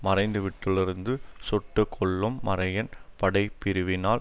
மறைந்துவிட்டலிருந்து சுட்டுக்கொல்லும் மரையன் படைப்பிரிவினால்